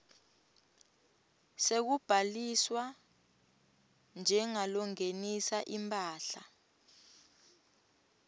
sekubhaliswa njengalongenisa imphahla